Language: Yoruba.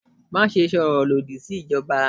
Maṣe sọrọ lodi si ijọba!